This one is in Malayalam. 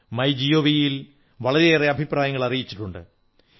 മൈ ജിഒവിയിൽ വളരെയേറെ അഭിപ്രായങ്ങൾ അറിയിച്ചിട്ടുണ്ട്